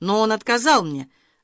но он отказал мне